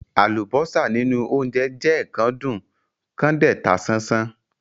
Àlùbọ́sà nínú óńjẹ jẹ́ kán dùn kán dẹ̀ ta sánsán.